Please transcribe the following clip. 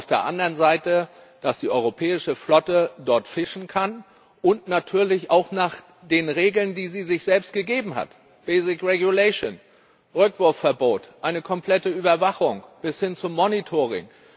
Und auf der anderen Seite, dass die europäische Flotte dort fischen kann und natürlich auch nach den Regeln, die sie sich selbst gegeben hat Basic Regulation Rückwurfverbot, eine komplette Überwachung bis hin zum Monitoring.